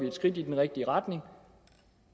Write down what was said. et skridt i den rigtige retning